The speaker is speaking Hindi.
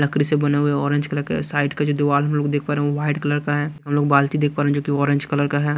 लकड़ी से बने हुए ऑरेंज कलर के साइड के जो दीवार में हमलोग देख पा रहे है व्हाइट कलर का है हम लोग बाल्टी देखकर जो ऑरेंज कलर का हैं।